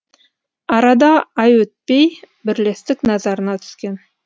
арада ай өтпей бірлестік назарына түскен